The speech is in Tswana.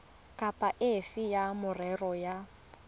kapa efe ya merero ya